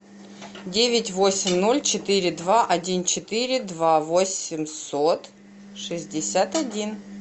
девять восемь ноль четыре два один четыре два восемьсот шестьдесят один